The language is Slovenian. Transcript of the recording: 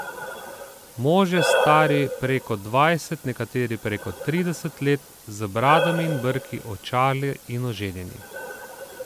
Možje stari preko dvajset, nekateri preko trideset let, z bradami in brki, očali in oženjeni.